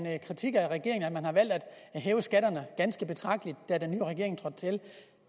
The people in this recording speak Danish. er en kritik af regeringen at man har valgt at hæve skatterne ganske betragteligt da den nye regering trådte til